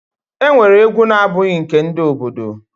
E nwere egwu na abụghị nke ndị obodo.